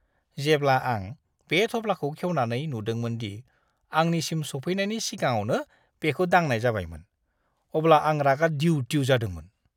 जेब्ला आं बे थफ्लाखौ खेवनानै नुदोंमोन दि आंनिसिम सौफैनायनि सिगाङावनो बेखौ दांनाय जाबायमोन, अब्ला आं रागा दिउ-दिउ जादोंमोन।